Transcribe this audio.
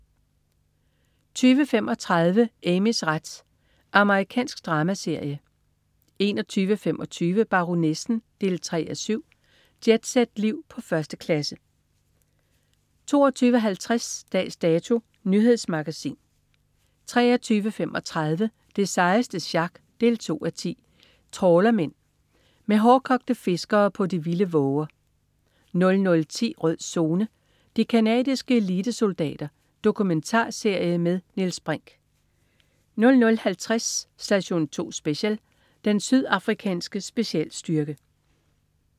20.35 Amys ret. Amerikansk dramaserie 21.25 Baronessen 3:7. Jetset-liv på 1. klasse 22.50 Dags Dato. Nyhedsmagasin 23.35 Det sejeste sjak 2:10. Trawlermen. Med hårdkogte fiskere på de vilde våger 00.10 Rød Zone: De canadiske elitesoldater. Dokumentarserie med Niels Brinch 00.50 Station 2 Special: Den sydafrikanske specialstyrke